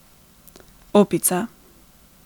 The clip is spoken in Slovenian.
Opica.